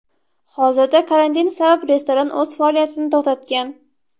Hozirda karantin sabab restoran o‘z faoliyatini to‘xtatgan.